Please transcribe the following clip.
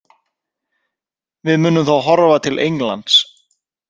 Við munum þá horfa til Englands.